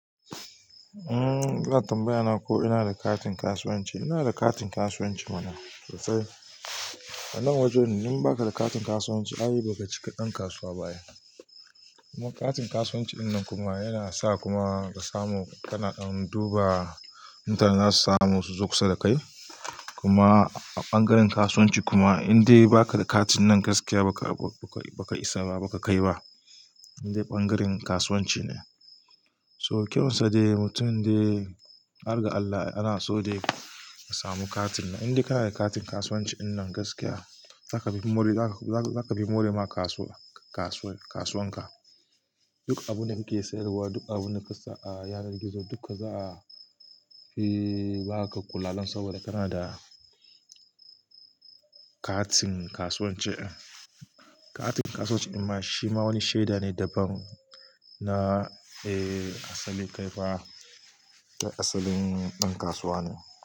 Kuna tambaya na ko ina da katin kasuwanci. Ina da katin kasuwanci mana, sosai. A nan wajen idan baka da katin kasuwanci, ai ba ka cika ɗan kasuwa ba kuma katin kasuwanci wannan kuma yana sa kuma ka samu, kana duba intanet za su samu su zo kusa da kai. Kuma a ɓangaren kasuwanci kuma idan dai baka da katin nan gaskiya baka kai ba. In dai ɓangaren kasuwanci ne. So, kyawunsa dai mutum dai, har ga Allah ana so dai ka samu katin nan. In dai ka na da katin kasuwanci gaskiya, za ka fi more, za ka fi more wa kasuwar ka. Duk abin da kake siyarwa, duk abin da ka sa a yanar gizo duka za a yi, ba ka ƙula saboda kana da katin kasuwanci. Katin kasuwanci amma shi ma wani shaida ne daban na, eh, asalin kai ba, asalin ɗan kasuwa ne.